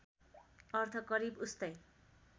अर्थ करिब उस्तै